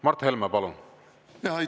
Mart Helme, palun!